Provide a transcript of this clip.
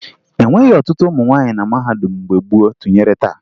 E nweghi ọtụtụ ụmụ nwaanyị na mahadum mgbe gboo tụnyere taa